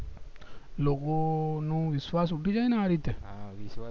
લોકો નું વિશ્વાસ ઉઠી જાય ને આ રીતે